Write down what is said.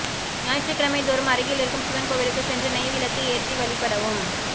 ஞாயிற்றுக்கிழமைதோறும் அருகிலிருக்கும் சிவன் கோவிலுக்கு சென்று நெய் விளக்கு ஏற்றி வழிபடவும்